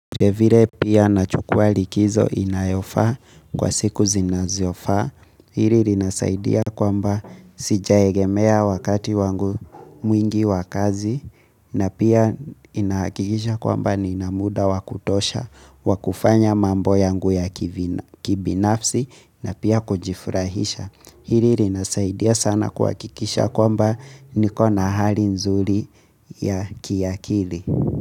Vilevile pia nachukua likizo inayofaa kwa siku zinazofaa. Hili linasaidia kwamba sijaegemea wakati wangu mwingi wa kazi. Na pia inakikisha kwamba nina muda wa kutosha wa kufanya mambo yangu ya kibinafsi na pia kujifurahisha. Hili linasaidia sana kuhakikisha kwamba niko na hali nzuri ya kiakili.